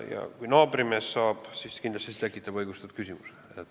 Ja kui naabrimees saab, siis kindlasti tekitab see õigustatud küsimuse.